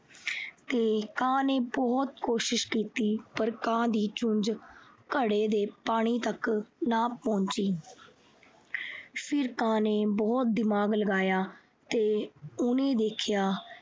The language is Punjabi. ਤੇ ਕਾਂ ਨੇ ਬਹੁਤ ਕੋਸ਼ਿਸ਼ ਕੀਤੀ ਪਰ ਕਾਂ ਦੀ ਚੂੰਝ ਘੜੇ ਦੇ ਪਾਣੀ ਤੱਕ ਨਾ ਪਹੁੰਚੀ। ਫਿਰ ਕਾਂ ਨੇ ਬਹੁਤ ਦਿਮਾਗ ਲਗਾਇਆ ਤੇ ਉਹਨੇ ਦੇਖਿਆ ਕਿ